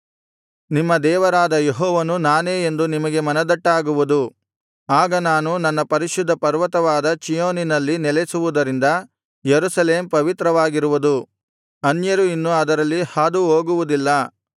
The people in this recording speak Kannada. ನಿಮ್ಮ ದೇವರಾದ ಯೆಹೋವನು ನಾನೇ ಎಂದು ನಿಮಗೆ ಮನದಟ್ಟಾಗುವುದು ಆಗ ನಾನು ನನ್ನ ಪರಿಶುದ್ಧ ಪರ್ವತವಾದ ಚೀಯೋನಿನಲ್ಲಿ ನೆಲೆಸುವುದರಿಂದ ಯೆರೂಸಲೇಮ್ ಪವಿತ್ರವಾಗಿರುವುದು ಅನ್ಯರು ಇನ್ನು ಅದರಲ್ಲಿ ಹಾದುಹೋಗುವುದಿಲ್ಲ